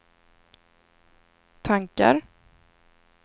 tankar